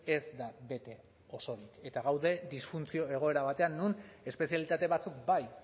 ez da bete oso ondo eta gaude disfuntzio egoera batean non espezialitate batzuk bai